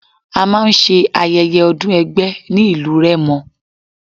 A máa ń ṣe Ayẹyẹ ọdún ẹgbẹ́ ní ìlú Rẹ́mọ.